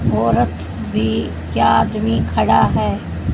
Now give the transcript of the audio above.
औरत भी या आदमी खड़ा है।